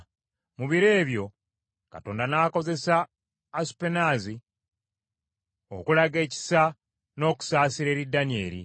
Mu biro ebyo Katonda n’akozesa Asupenaazi okulaga ekisa n’okusaasira eri Danyeri.